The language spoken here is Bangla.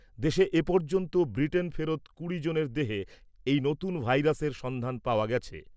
দেশে এ পর্যন্ত ব্রিটেন ফেরত কুড়ি জনের দেহে এই নতুন ভাইরাসের সন্ধান পাওয়া গেছে।